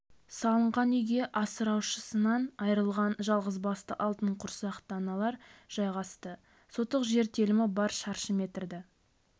салынған үйге асыраушысынан айырылған жалғызбасты алтын құрсақты аналар жайғасты сотық жер телімі бар шаршы метрді